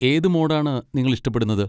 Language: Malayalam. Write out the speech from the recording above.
ഏത് മോഡാണ് നിങ്ങൾ ഇഷ്ടപ്പെടുന്നത്?